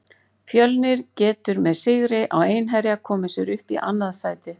Fjölnir getur með sigri á Einherja komið sér upp í annað sæti.